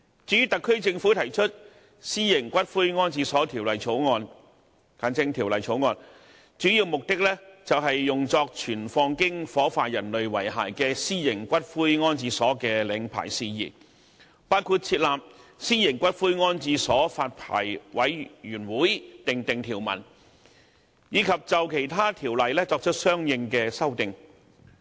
至於特區政府提出《私營骨灰安置所條例草案》的主要目的，是用作存放經火化人類遺骸的私營骨灰安置所的領牌事宜，包括就設立私營骨灰安置所發牌委員會訂定條文，以及就其他條例作出相應的修訂。